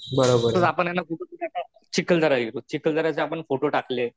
चिखलदरा चिखलदर्याचे आपण फोटो टाकले .